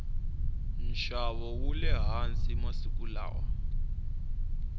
nxavo wule hansi masiku lawa